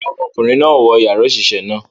Rara, ọmọkunrin náà o wọ yara oṣiṣẹ náà